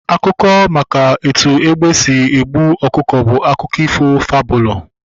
Akụkọ maka etu egbe sịrị gbuo ọkụkọ bụ akụkọ ifo fabụlu